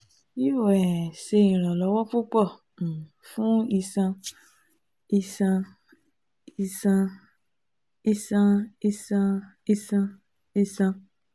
yoo um ṣe iranlọwọ pupọ um fun iṣan iṣan iṣan iṣan iṣan iṣan iṣan